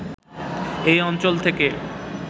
এই অঞ্চল থেকে